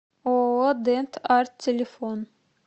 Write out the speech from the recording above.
ооо дент арт телефон